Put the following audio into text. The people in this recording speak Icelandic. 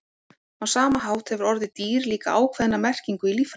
á sama hátt hefur orðið „dýr“ líka ákveðna merkingu í líffræði